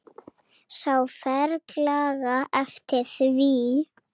Sá ferlega eftir því.